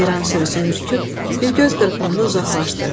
Ceyran sürüsü ürküb, bir göz qırpımında uzaqlaşdı.